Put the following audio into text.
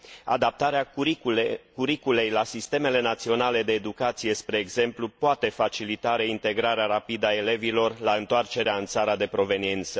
Adaptarea curriculei la sistemele naționale de educație, spre exemplu, poate facilita reintegrarea rapidă a elevilor la întoarcerea în țara de proveniență.